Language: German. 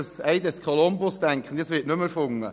Das Ei des Kolumbus wird wohl nicht mehr erfunden.